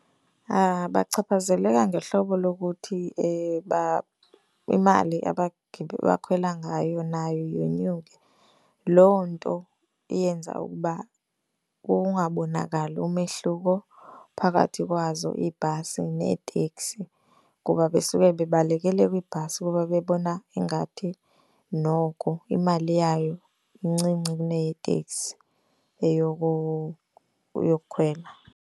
Bachaphazeleka ngehlobo lokuthi imali abakhwela ngayo nayo yonyuke. Loo nto eyenza ukuba kungabonakali umehluko phakathi kwazo iibhasi neeteksi kuba besuke bebalekele kwibhasi kuba bebona ingathi noko imali yayo incinci kuneteeteksi eyokukhwela.